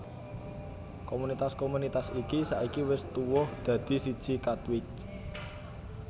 Komunitas komunitas iki saiki wis tuwuh dadi siji Katwijk